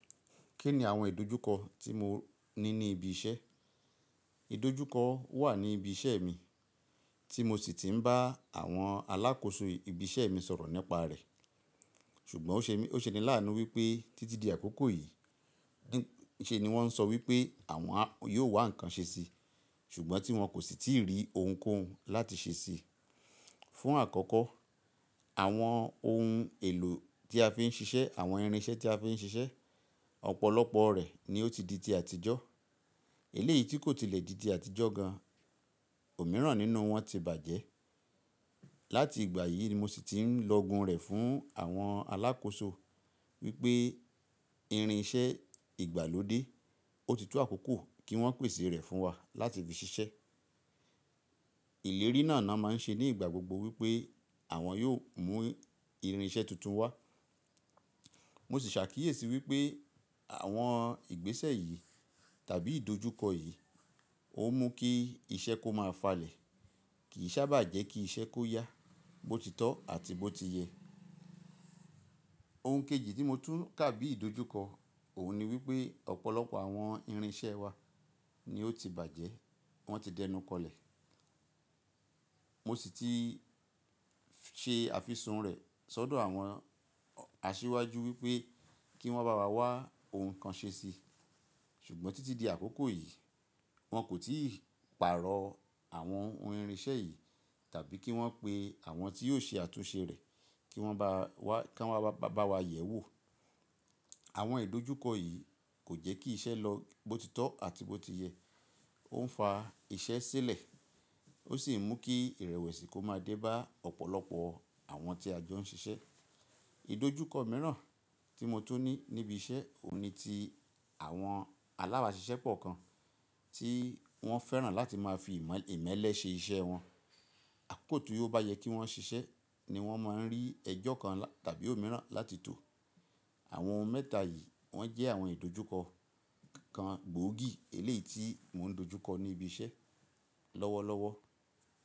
Kí ni àwọn ìdojúkọ tí mo ní ní ibi iṣẹ́? Ìdojúkọ wà ní ibi iṣẹ́ mi tí mo sì ti ń bá àwọn alákòóso ibi iṣẹ́ mi sọ̀rọ̀ nípa rẹ̀. Ṣùgbọ́n ó ṣe ni láàánú wípé títí di àkókò yìí ṣe ni wọ́n ń sọ wípé àwọn yóò wá ǹkan ṣe sí, ṣùgbọ́n tí wọ́n kò sì tíì rí ohunkóhun láti ṣe sí i. Fún àkọ́kọ́, àwọn ohun èlò tí a fi ń ṣiṣẹ́, àwọn irinṣẹ́ tí a fi ń ṣiṣẹ́, ọ̀pọ̀lọpọ̀ rẹ̀ ni ó ti di ti àtijọ́. Eléyìí tí kò tilẹ̀ di ti àtijọ́ gan, ò míràn nínú wọn ti bàjẹ́. Láti ìgbà yìí ni mo sì ti ń lọgun rẹ̀ fún àwọn alákòóso wípé irinṣẹ́ ìgbàlódé ó ti tó àkókò kí wọ́n pèsè rẹ̀ fún wa láti fi ṣiṣẹ́. Ìlérí náà ná máa ń ṣe ní ìgbà gbogbo wípé àwọn yóò mú irinṣẹ́ tuntun wá. Mo sì ṣàkíyèsí wípé àwọn ìgbésẹ̀ yìí tàbí ìdojúkọ yìí ó mú kí iṣẹ́ kó máa falẹ̀ kì í sábà jẹ́ kí iṣẹ́ kó yá bó ti tọ́ àti bó ti yẹ. Ohun kejì tí mo tún kà bí ìdojúkọ òun ni wípé ọ̀pọ̀lọpọ̀ àwọn irinṣẹ́ wa ni ó ti bàjẹ́, wọ́n ti dẹnukọlẹ̀. Mo sì ti ṣe àfisùn rẹ̀ sọ́dọ̀ àwọn aṣíwájú wípé kí wọ́n bá wa wá ohun kan ṣe si. Ṣùgbọ́n títí di àkókò yìí, wọn kò tíì pààrọ̀ àwọn ohun irinṣẹ́ yìí tàbí kí wọ́n pe àwọn tí yóò ṣe àtúnṣe rẹ̀ kí wọ́n wá bá wa yẹ̀ẹ́ wò. Àwọn ìdojúkọ yìí kò jẹ́ kí iṣẹ́ lọ bó ti tọ́ àti bó ti yẹ. Ó ń fa iṣẹ́ sílẹ̀, ó sì ń mú kí ìrẹ̀wẹ̀sì kó máa dé bá ọ̀pọ̀lọpọ̀ àwọn tí a jọ ń ṣiṣẹ́. Ìdojúkọ mìíràn tí mo tún ní níbi iṣẹ́ òun ni ti àwọn aláàbá ṣiṣẹ́ pọ̀ kan tí wọ́n fẹ́ràn láti máa fi ìmẹ́lẹ́ ṣe iṣẹ́ ẹ wọn. Àkókò tí ó bá yẹ kí wọ́n ṣiṣẹ́ ni wọ́n máa ń rí ẹjọ́ kan tàbí òmíràn láti tò. Àwọn ohun mẹ́ta yìí wọ́n jẹ́ àwọn ìdojúkọ kan gbòógì eléyìí tí mò ń dojúkọ ní ibi iṣẹ́ lọ́wọ́lọ́wọ́.